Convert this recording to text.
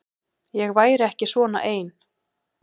Ég væri ekki svona ein.